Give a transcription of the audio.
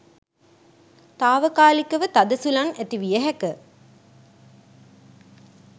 තාවකාලිකව තද සුළං ඇති විය හැක.